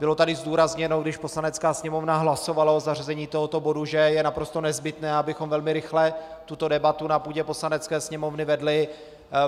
Bylo tady zdůrazněno, když Poslanecká sněmovna hlasovala o zařazení tohoto bodu, že je naprosto nezbytné, abychom velmi rychle tuto debatu na půdě Poslanecké sněmovny vedli.